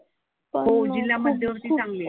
हो जिल्हा मध्यवर्ती चांगली आहे.